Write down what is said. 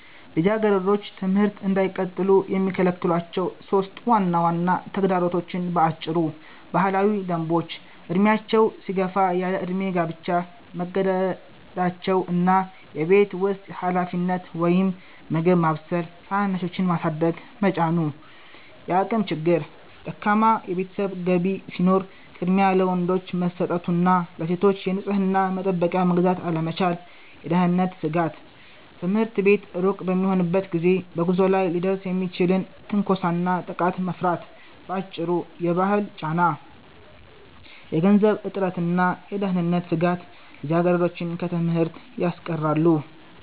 ልጃገረዶች ትምህርት እንዳይቀጥሉ የሚከለክሏቸው 3 ዋና ዋና ተግዳሮቶች በአጭሩ፦ ባህላዊ ደንቦች፦ ዕድሜያቸው ሲገፋ ያለዕድሜ ጋብቻ መገደዳቸው እና የቤት ውስጥ ኃላፊነት (ምግብ ማብሰል፣ ታናናሾችን ማሳደግ) መጫኑ። የአቅም ችግር፦ ደካማ የቤተሰብ ገቢ ሲኖር ቅድሚያ ለወንዶች መሰጠቱ እና ለሴቶች የንጽሕና መጠበቂያ መግዛት አለመቻል። የደህንነት ስጋት፦ ትምህርት ቤት ሩቅ በሚሆንበት ጊዜ በጉዞ ላይ ሊደርስ የሚችልን ትንኮሳና ጥቃት መፍራት። ባጭሩ፤ የባህል ጫና፣ የገንዘብ እጥረትና የደህንነት ስጋት ልጃገረዶችን ከትምህርት ያስቀራሉ።